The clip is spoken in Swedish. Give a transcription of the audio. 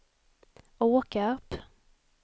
Åkarp